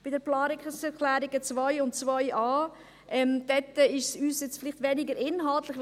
Bei den Planungserklärungen 2 und 2.a ist es für uns weniger inhaltlich.